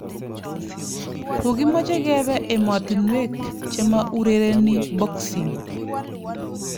"Kokimeche kebe emotinwek chema urereni boxing .